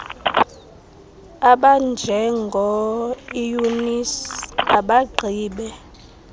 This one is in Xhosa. abanjengo eunice abagqibe